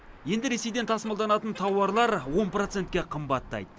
енді ресейден тасымалданатын тауарлар он процентке қымбаттайды